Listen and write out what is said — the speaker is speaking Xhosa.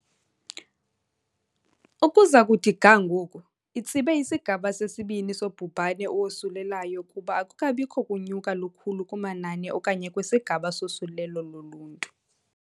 " Ukuza kuthi ga ngoku, itsibe isigaba sesibini sobhubhane owosulelayo kuba akukabikho kunyuka lukhulu kumanani okanye kwisigaba sosulelo loluntu.